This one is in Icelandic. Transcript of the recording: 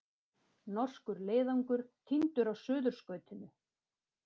Norskur leiðangur týndur á Suðurskautinu